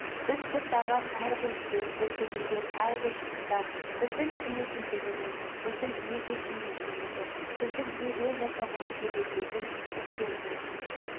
біз бастаған әрбір істе біз бітірген әрбір жұмыста біздің кім екендігіміз біздің неге сенетінімізді біздің неден жасалғанымызды білдіретін істер қалсын